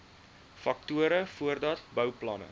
faktore voordat bouplanne